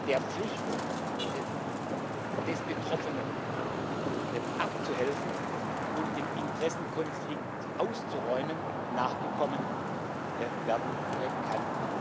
der Pflicht des Betroffenen, abzuhelfen und den Interessenkonflikt auszuräumen, nachgekommen werden kann.